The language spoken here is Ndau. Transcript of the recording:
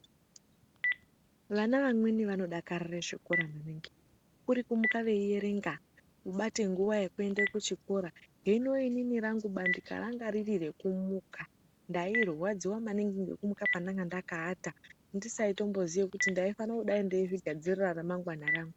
Vana vamweni vano dakarire zvikora maningi kuri kumuka vei erenga kubate nguva yeku ende ku chikora hino inini rangu bandika ranga riri reku muka ndai rwadziwa maningi ngeku muka pandanga ndaka ata andisatombo ziye kuti ndai fana kudai ndeizvi gadzirira ra mangwana rangu.